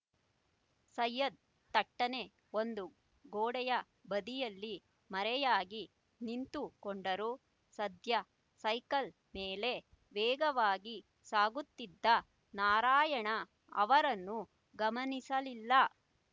ಸೈಯದ್ ಥಟ್ಟನೆ ಒಂದು ಗೋಡೆಯ ಬದಿಯಲ್ಲಿ ಮರೆಯಾಗಿ ನಿಂತುಕೊಂಡರು ಸಧ್ಯ ಸೈಕಲ್ ಮೇಲೆ ವೇಗವಾಗಿ ಸಾಗುತ್ತಿದ್ದ ನಾರಾಯಣ ಅವರನ್ನು ಗಮನಿಸಲಿಲ್ಲ